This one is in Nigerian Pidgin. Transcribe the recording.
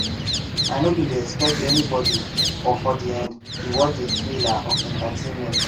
i no bin dey expect anybody but for the end we watch the thriller of entertainment